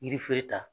Yirifere ta